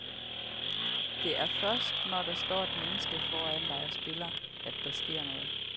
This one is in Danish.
Det er først, når der står et menneske foran dig og spiller, at der sker noget.